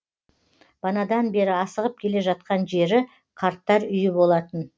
банадан бері асығып келе жатқан жері қарттар үйі болатын